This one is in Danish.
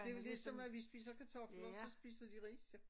Det jo ligesom at vi spiser kartofler så spiser de ris til